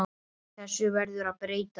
Þessu verður að breyta!